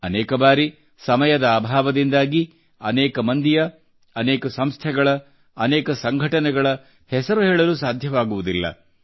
ಅನೇಕ ಬಾರಿ ಸಮಯದ ಅಭಾವದಿಂದಾಗಿ ಅನೇಕ ಮಂದಿಯ ಅನೇಕ ಸಂಸ್ಥೆಗಳ ಅನೇಕ ಸಂಘಟನೆಗಳ ಹೆಸರು ಹೇಳಲು ಸಾಧ್ಯವಾಗುವುದಿಲ್ಲ